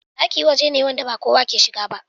Ɗaki waje ne wanda ba kowa ne yake shiga ba